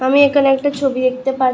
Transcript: আমি এখানে একটা ছবি দেখতে পাচ্ছ--